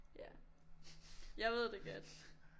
Ja jeg ved det godt